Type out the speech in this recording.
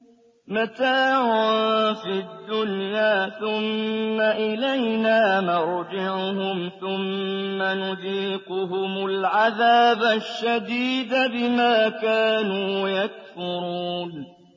مَتَاعٌ فِي الدُّنْيَا ثُمَّ إِلَيْنَا مَرْجِعُهُمْ ثُمَّ نُذِيقُهُمُ الْعَذَابَ الشَّدِيدَ بِمَا كَانُوا يَكْفُرُونَ